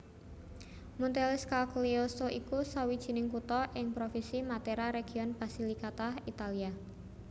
Montescaglioso iku sawijining kutha ing Provinsi Matera region Basilicata Italia